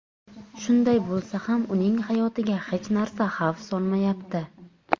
Shunday bo‘lsa ham, uning hayotiga hech narsa xavf solmayapti.